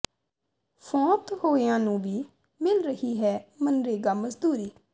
ਫ਼ੌਤ ਹੋਇਆਂ ਨੂੰ ਵੀ ਮਿਲ ਰਹੀ ਹੈ ਮਨਰੇਗਾ ਮਜ਼ਦੂਰੀ